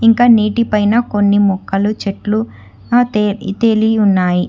ఇంకా నీటి పైన కొన్ని మొక్కలు చెట్లు తెలి ఉన్నాయి.